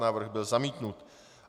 Návrh byl zamítnut.